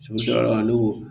ne ko